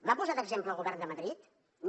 va posar d’exemple el govern de madrid no